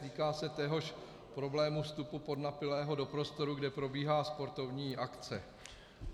Týká se téhož problému, vstupu podnapilého do prostoru, kde probíhá sportovní akce.